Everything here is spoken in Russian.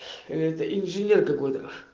это инженер какой то